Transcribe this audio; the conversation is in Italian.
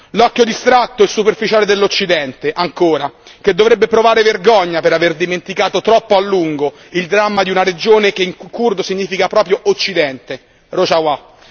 L'occhio distratto e superficiale dell'Occidente ancora che dovrebbe provare vergogna per aver dimenticato troppo a lungo un dramma di una regione che in curdo significa proprio Occidente, Rojawa.